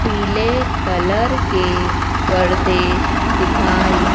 पीले कलर के पर्दे दिखाई--